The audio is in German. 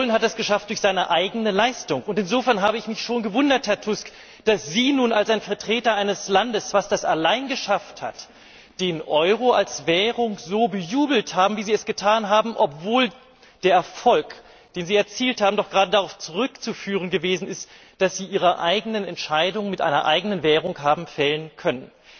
Polen hat es geschafft durch seine eigene Leistung, und insofern habe ich mich schon gewundert, Herr Tusk, dass Sie nun als Vertreter eines Landes, das das allein geschafft hat, den Euro als Währung so bejubelt haben, wie Sie es getan haben, obwohl der Erfolg, den Sie erzielt haben, doch gerade darauf zurückzuführen gewesen ist, dass Sie Ihre eigenen Entscheidungen mit einer eigenen Währung haben fällen können.